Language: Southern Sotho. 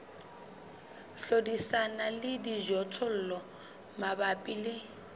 hlodisana le dijothollo mabapi le